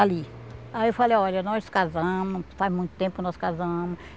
Ali, aí eu falei, olha, nós casamos, faz muito tempo que nós casamos.